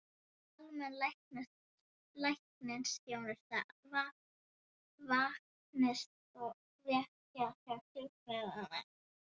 Almenn læknisþjónusta, vaktþjónusta og vitjanir til sjúklinga.